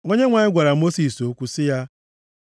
Onyenwe anyị gwara Mosis okwu sị ya,